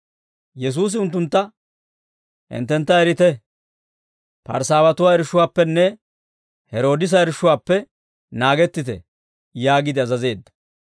Yesuusi unttuntta, «Hinttentta erite; Parsaawatuwaa irshshuwaappenne Heroodisa irshshuwaappe naagettite» yaagiide azazeedda.